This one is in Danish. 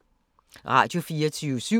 Radio24syv